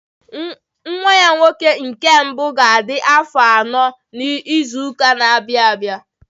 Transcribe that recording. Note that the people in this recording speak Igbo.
Her first son will turn four next year